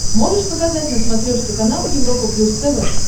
можешь показать на смотрешке канал европа плюс тв